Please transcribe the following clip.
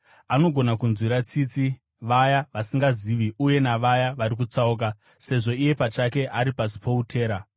Anogona kunzwira tsitsi vaya vasingazivi uye navaya vari kutsauka, sezvo iye pachake ari pasi poutera.